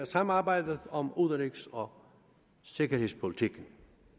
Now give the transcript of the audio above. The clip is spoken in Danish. samarbejdet om udenrigs og sikkerhedspolitikken